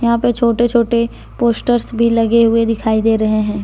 यहां पे छोटे छोटे पोस्टर्स भी लगे हुए दिखाई दे रहे हैं।